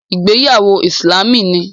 Ìgbéyàwó Ìsìlámù ni